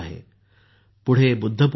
पुढे बुद्धपौर्णिमा आहे